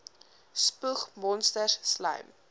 spoeg monsters slym